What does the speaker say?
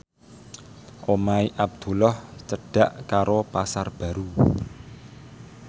omahe Abdullah cedhak karo Pasar Baru